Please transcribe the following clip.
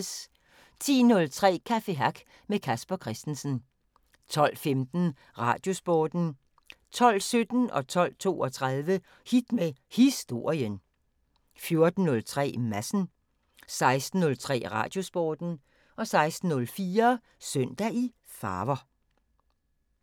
10:03: Café Hack med Casper Christensen 12:15: Radiosporten 12:17: Hit med Historien 12:32: Hit med Historien 14:03: Madsen 16:03: Radiosporten 16:04: Søndag i farver